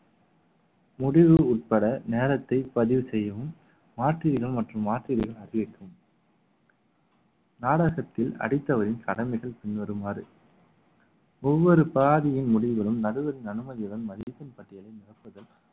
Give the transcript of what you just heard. முடிவு உட்பட நேரத்தை பதிவு செய்யவும் மாற்று இடம் மற்றும் அதிகரிக்கும் நாடகத்தில் அடித்தவரின் கடமைகள் பின்வருமாறு ஒவ்வொரு பாதியின் முடிவுகளும் நடுவரின் அனுமதியுடன் மதியத்தின் பட்டியலை நிரப்புதல்